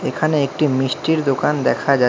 এখানে একটি মিষ্টির দোকান দেখা যা--